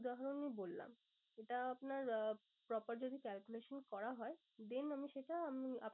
উদাহরণে বললাম। এটা আপনার আহ popper যদি calculation করা হয় then আমি সেটা